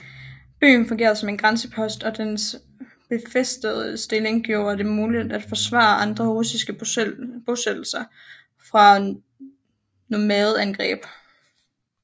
Byen fungerede som en grænsepost og dens befæstede stilling gjorde det muligt at forsvare andre russiske bosættelser fra nomadeangreb